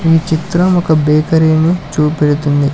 ఈ చిత్రం ఒక బేకరీ ని చూపెడుతుంది.